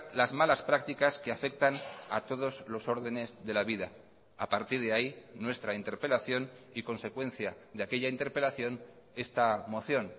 las malas prácticas que afectan a todos los órdenes de la vida a partir de ahí nuestra interpelación y consecuencia de aquella interpelación esta moción